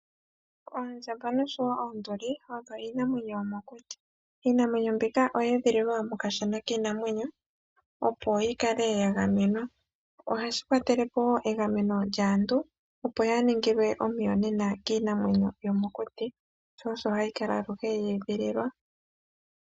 Oondjamba noshowo oonduli odho iinamwenyo yomokuti. Iinamwenyo mbika oye edhililwa mokashana kiinamwenyo, opo yi kale ya gamenwa. Ohashi kwatele po wo egameno lyaantu, opo yaa ningilwe omuyonena kiinamwenyo yomokuti, sho osho hayi kala aluhe ye edhililwa.